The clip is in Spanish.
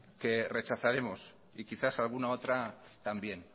que rechazaremos y quizás alguna otra también